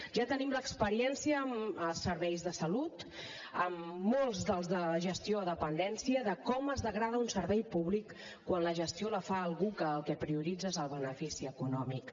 ja tenim l’experiència amb serveis de salut amb molts de la gestió de la dependència de com es degrada un servei públic quan la gestió la fa algú que el que prioritza és el benefici econòmic